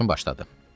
Yoldaşım başladı.